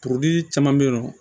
Kuruli caman be yen nɔ